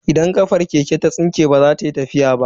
Idan kachar keke ta tsinke baza ta yi tafiya ba.